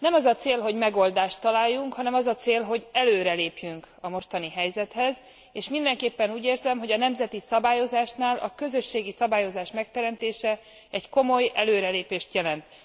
Nem az a cél, hogy megoldást találjunk, hanem az a cél, hogy előrelépjünk a mostani helyzethez képest, és mindenképpen úgy érzem, hogy a nemzeti szabályozásnál a közösségi szabályozás megteremtése egy komoly előrelépést jelent.